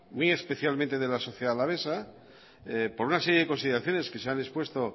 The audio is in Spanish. muy especialmente de la sociedad alavesa por una serie de consideraciones que se han expuesto